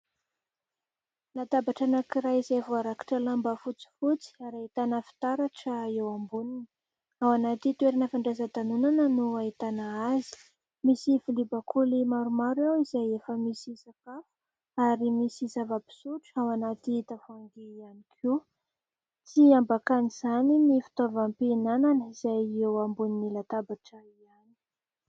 Latabatra anankiray izay voarakotra lamba fotsifotsy ary ahitana fitaratra eo amboniny. Ao anaty toerana fandraisan-danonana no ahitana azy. Misy vilia bakoly maromaro eo izay efa misy sakafo ary misy zava-pisotro ao anaty tavoahangy ihany koa. Tsy ambakan'izany ny fitaovam-pihinanana izay eo ambonin'ny latabatra ihany.